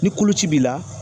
Ni koloci b'i la